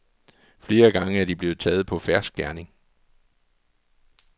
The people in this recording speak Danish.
Flere gange er de blevet taget på fersk gerning.